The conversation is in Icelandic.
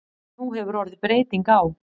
Nú hefur orðið breyting á.